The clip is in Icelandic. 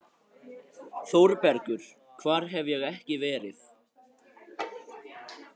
ÞÓRBERGUR: Hvar hef ég ekki verið!